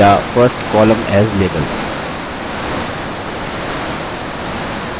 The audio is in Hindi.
या first column as label